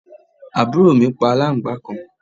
àbúrò mi pa aláǹgbàá kan